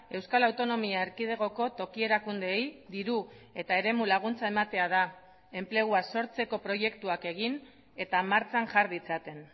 euskal autonomia erkidegoko toki erakundeei diru eta eremu laguntza ematea da enplegua sortzeko proiektuak egin eta martxan jar ditzaten